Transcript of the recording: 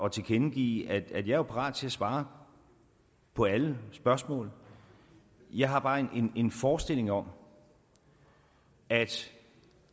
at tilkendegive at jeg jo er parat til at svare på alle spørgsmål jeg har bare en forestilling om at